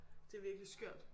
Det virkelig skørt